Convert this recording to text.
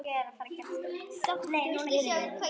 Sáttur við lífið.